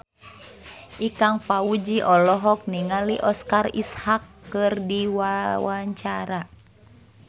Ikang Fawzi olohok ningali Oscar Isaac keur diwawancara